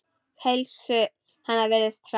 Heilsu hennar virðist hraka.